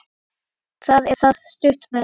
Það er það stutt ferð.